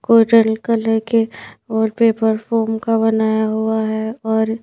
coral colour के और paper form का बनाया हुआ है और--